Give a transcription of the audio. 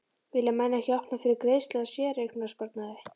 Vilja menn ekki að opna fyrir greiðslu á séreignasparnaði?